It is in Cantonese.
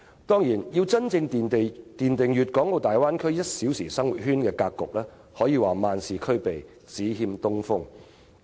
當然，要真正奠定大灣區 "1 小時生活圈"的格局，可說是萬事俱備，只欠東風。